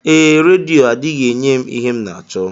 Ee, redio adịghị enye m ihe m n'achọ.